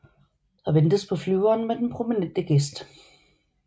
Der ventes på flyveren med den prominente gæst